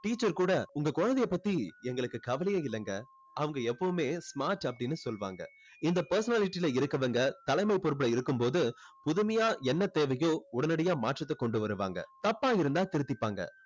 teacher கூட உங்க குழந்தையை பத்தி எங்களுக்கு கவலையே இல்லைங்க. அவங்க எப்பவுமே smart அப்படின்னு சொல்லுவாங்க. இந்த personality ல இருக்கவங்க தலைமை பொறுப்பில் இருக்கும் போது புதுமையா என்ன தேவையோ உடனடியா மாற்றத்தை கொண்டு வருவாங்க. தப்பா இருந்தா திருத்திப்பாங்க.